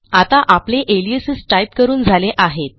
आता आपले aliases type करून झाले आहेत